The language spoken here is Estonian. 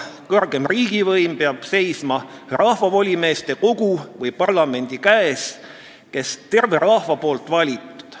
Kõrgem riigivõim peab seisma rahvavolimeeste kogu või parlamendi käes, kes terve rahva poolt valitud.